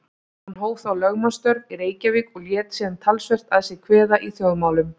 Hann hóf þá lögmannsstörf í Reykjavík og lét síðan talsvert að sér kveða í þjóðmálum.